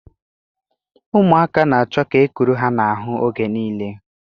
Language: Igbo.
Ụmụaka na-achọ ka e kuru ha n'ahụ oge niile